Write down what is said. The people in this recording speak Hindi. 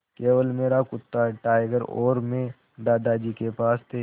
केवल मेरा कुत्ता टाइगर और मैं दादाजी के पास थे